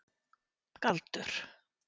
Galdur